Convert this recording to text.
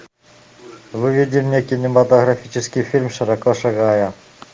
выведи мне кинематографический фильм широко шагая